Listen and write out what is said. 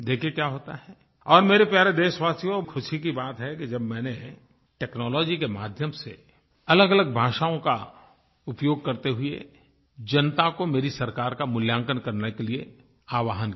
देखें क्या होता है और मेरे प्यारे देशवासियो खुशी की बात है कि जब मैंने टेक्नोलॉजी के माध्यम से अलगअलग भाषाओं का उपयोग करते हुए जनता को मेरी सरकार का मूल्यांकन करने के लिए आवाहन किया